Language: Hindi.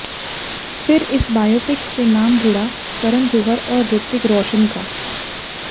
फिर इस बायोपिक से नाम जुड़ा करण जौहर और ऋतिक रोशन का